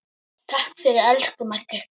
Takk fyrir, elsku Maggi.